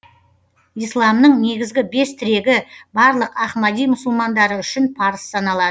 исламның негізгі бес тірегі барлық ахмади мұсылмандары үшін парыз саналады